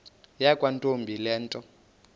yakwantombi le nto